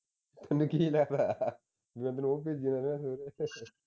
ਪਤਾ ਨੀ ਕੀ ਐ ਜਿਵੇਂ ਤੈਨੂੰ ਉਹ ਭੇਜੀ ਜਾਂਦਾ ਸਵੇਰੇ